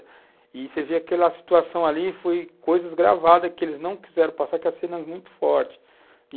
E você vê aquela situação ali, foi coisas gravadas que eles não quiseram passar, porque a cena é muito forte.